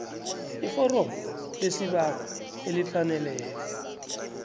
iforomo lesibawo elifaneleko